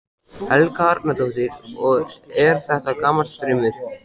Helga Arnardóttir: Og er þetta gamall draumur?